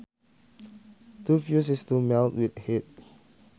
To fuse is to melt with heat